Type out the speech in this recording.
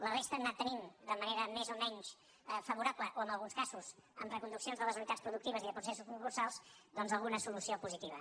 la resta han anat tenint de manera més o menys favorable o en alguns casos amb reconduccions de les unitats productives i de pro·cessos concursals doncs alguna solució positiva